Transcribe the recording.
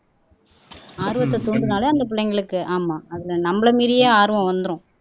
ஆர்வத்தை தூண்டுனதாலே அந்த பிள்ளைங்களுக்கு ஆமா அதிலே நம்மளை மீறியே ஆர்வம் வந்துரும்